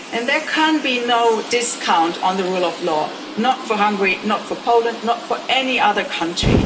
There can be no discount on the rule of law, not for Hungary, not for Poland, not for any other country.